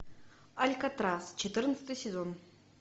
алькатрас четырнадцатый сезон